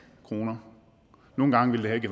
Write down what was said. kroner nogle gange ville det